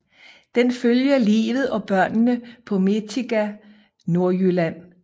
Den følger livet og børnene på Mentiqa Nordjylland